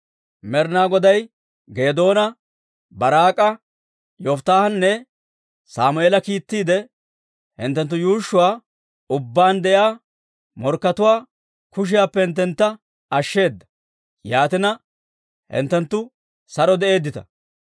Med'inaa Goday Geedoona, Baaraak'a, Yofittaahanne Sammeela kiittiide, hinttenttu yuushshuwaa ubbaan de'iyaa morkkatuwaa kushiyaappe hinttentta ashsheeda; yaatina, hinttenttu saro de'eeddita.